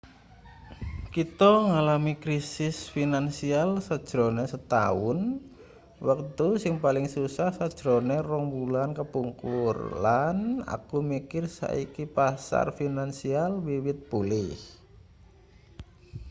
kita ngalami krisis finansial sajrone setaun wektu sing paling susah sajrone rong wulan kepungkur lan aku mikir saiki pasar finansial wiwit pulih